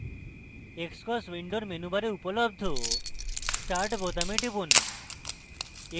xcos window মেনুবারে উপলব্ধ start বোতামে টিপুন